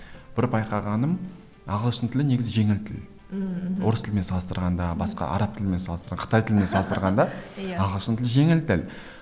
бір байқағаным ағылшын тілі негізі жеңіл тіл ммм мхм орыс тілімен салыстырғанда басқа араб тілімен қытай тілімен салыстырғанда иә ағылшын тілі жеңіл тіл